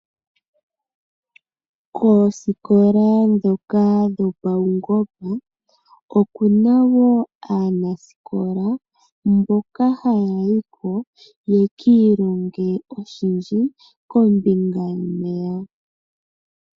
Koosikola ndhoka dhopawungomba oku na woo aanasikola mboka haya yi ko ya kiilonge oshindji kombinga yomeya.